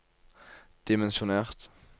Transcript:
dimensjonert